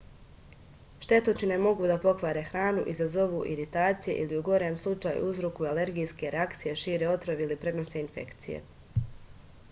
štetočine mogu da pokvare hranu izazovu iritacije ili u gorem slučaju uzrokuju alergijske reakcije šire otrov ili prenose infekcije